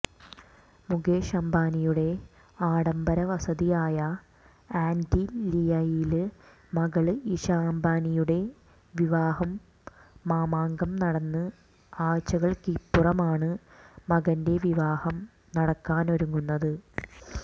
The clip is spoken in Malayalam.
മുകേഷ് അംബാനിയുടെ ആഡംബര വസതിയായ ആന്റലിയയില് മകള് ഇഷ അംബാനിയുടെ വിവാഹ മാമാങ്കം നടന്ന് ആഴ്ച്ചകള്ക്കിപ്പുറമാണ് മകന്റെ വിവാഹം നടക്കാനൊരുങ്ങുന്നത്